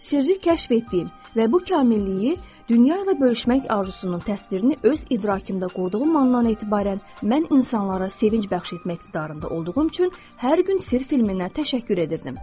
Sirri kəşf etdiyim və bu kamililiyi dünya ilə bölüşmək arzusunun təsvirini öz idrakımda qurduğum andan etibarən, mən insanlara sevinc bəxş etmək iqtidarında olduğum üçün hər gün sirr filminə təşəkkür edirdim.